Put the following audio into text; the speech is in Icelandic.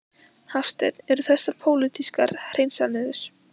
Hafsteinn: Eru þessar pólitískar hreinsanir?